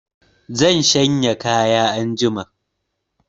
Zan shanya kayan anjima